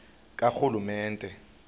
karhulumente